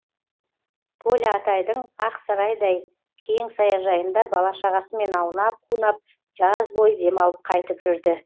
толя атайдың ақсарайдай кең саяжайында бала шағасымен аунап қунап жаз бойы демалып қайтып жүрді